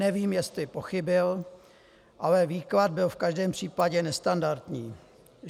Nevím, jestli pochybil, ale výklad byl v každém případě nestandardní.